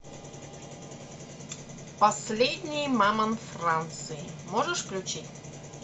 последний мамонт франции можешь включить